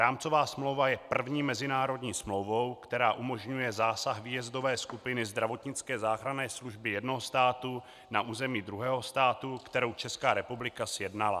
Rámcová smlouva je první mezinárodní smlouvou, která umožňuje zásah výjezdové skupiny zdravotnické záchranné služby jednoho státu na území druhého státu, kterou Česká republika sjednala.